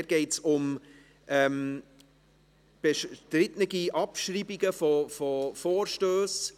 Dort geht es um bestrittene Abschreibungen von Vorstössen.